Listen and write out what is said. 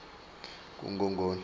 kungongoni